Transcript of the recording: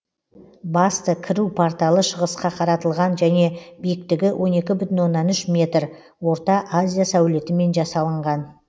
басты кіру порталы шығысқа қаратылған және биіктігі он екі бүтін оннан үш метр орта азия сәулетімен жасалынған